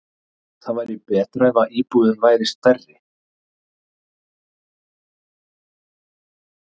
Það væri betra ef íbúðin væri stærri.